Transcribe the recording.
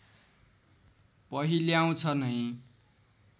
पहिल्याउँछ नै